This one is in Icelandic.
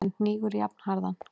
en hnígur jafnharðan.